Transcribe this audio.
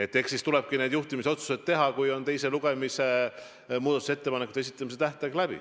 Eks siis tulebki need juhtimisotsused teha, kui on teise lugemise muudatusettepanekute esitamise tähtaeg läbi.